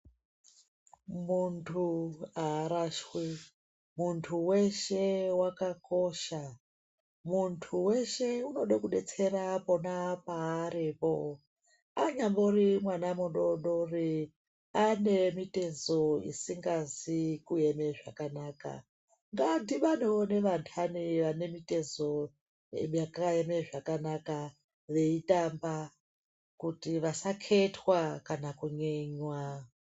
Muntu harashwi, muntu weshe wakakosha. Muntu weshe unoda kubetsera pona paaripo. Anyambori mwana mudoodori ane mitezo isingazi kuema zvakanaka ngadhibhanewo nevantani vane mitezo yakaeme zvakanaka veitamba kuti vasaketwa kana kunyenywa.